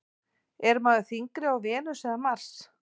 Er maður þyngri á Venus eða Mars?